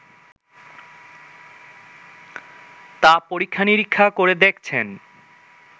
তা পরীক্ষা-নিরীক্ষা করে দেখছেন